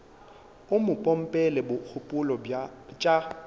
o mo pompela dikgopolo tša